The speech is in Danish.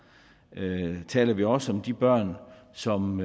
taler vi også om de børn som